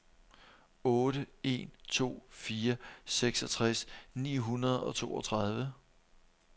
otte en to fire seksogtres ni hundrede og toogtredive